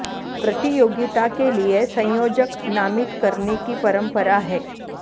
प्रतियोगिता के लिए संयोजक नामित करने की परम्परा है